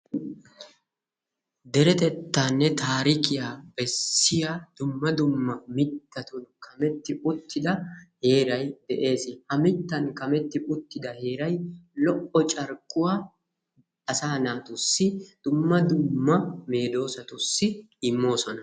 Deretettaanne taarikkiya besiya dumma dumma mittatun kametti uttidaa heeray de'ees. Ha mittaan kametti uttida heeray lo"o carkkuwa asaa naatussi dumma dumma meedoossatussi immoosona.